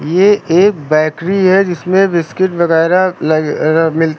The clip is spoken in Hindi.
ये एक बैकरी है जिसमें बिस्किट वगैरा लगे मिलते--